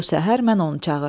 Bu səhər mən onu çağırdım.